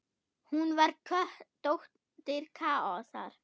Hún var dóttir Kaosar.